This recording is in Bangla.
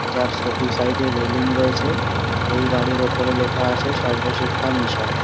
যার স দু সাইডে রেলিং রয়েছে এই বাড়ির উপর লেখা আছে সর্বশিক্ষা মিশন ।